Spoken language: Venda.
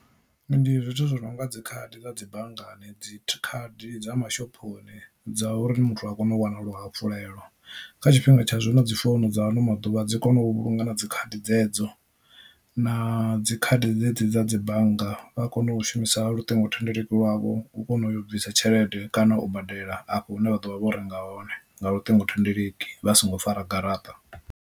Ndi zwithu zwi nonga dzi khadi dza dzi banngani dzi khadi dza mashophoni dza uri muthu a kone u wana luhafhulelo. Kha tshifhinga tsha zwino dzi founu dza ano maḓuvha dzi kona u vhulunga na dzi khadi dzedzo, na dzi khadi dzedzi dza dzi bannga vha kona u shumisa luṱingothendeleki lwavho u kona u yo u bvisa tshelede kana u badela afho hune vha ḓo vha vho renga hone nga luṱingothendeleki vha songo fara garaṱa.